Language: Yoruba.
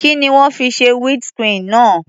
Kí ni wọ́n fi ṣe windshield náà?